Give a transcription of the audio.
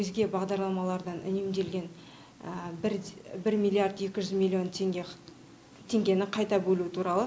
өзге бағдарламалардан үнемделген бірде бір миллиард екі жүз миллион теңгені қайта бөлу туралы